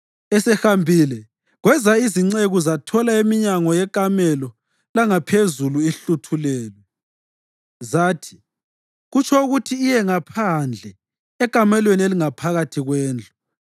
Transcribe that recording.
Esehambile kweza izinceku zathola iminyango yekamelo langaphezulu ihluthulelwe. Zathi, “Kutsho ukuthi iye ngaphandle ekamelweni elingaphakathi kwendlu.”